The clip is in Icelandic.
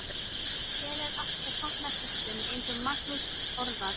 Hinir áttu að safna kröftum eins og Magnús orðaði það.